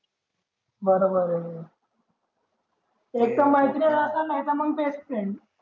बर बर हे मग तूह तिचा मैत्रिणीने असे नव्हते मग